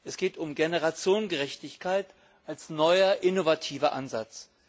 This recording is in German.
Es geht um Generationengerechtigkeit als neuer innovativer Ansatz.